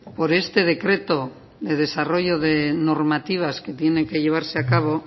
por este decreto de desarrollo de normativas que tiene que llevarse a cabo